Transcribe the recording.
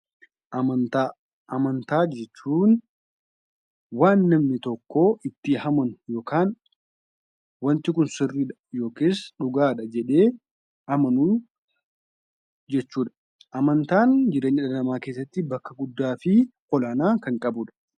Amantaa. Amantaa jechuun waan namni tokkoo itti amanu yookaan wanti kun sirriidha yookis dhugaadha jedhee amanuu jechuudha. Amantaan jireenya dhala namaa keessatti bakka guddaa fi olaanaa kan qabudha.